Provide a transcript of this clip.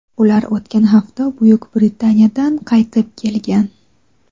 Ular o‘tgan hafta Buyuk Britaniyadan qaytib kelgan.